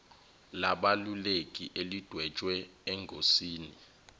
labeluleki elidwetshwe engosini